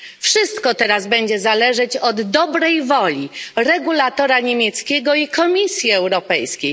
Wszystko teraz będzie zależeć od dobrej woli regulatora niemieckiego i Komisji Europejskiej.